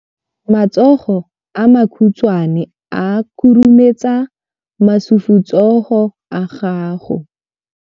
Matsogo a makhutshwane a khurumetsa masufutsogo a gago.